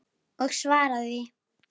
Og svara því.